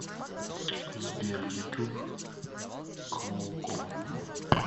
сбер ютуб клоукома